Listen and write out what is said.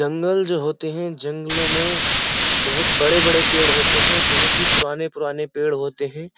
जंगल जो होते है। जंगलो में बहोत बहो बड़े-बड़े पेड़ होते हैं। बहोत ही पुराने-पुराने पेड़ होते हैं।